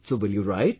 so will you write